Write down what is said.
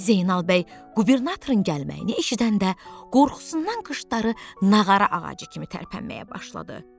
Zeynal bəy qubernatorun gəlməyini eşidəndə qorxusundan qıçları nağara ağacı kimi tərpənməyə başladı.